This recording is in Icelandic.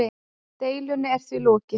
Deilunni er því lokið.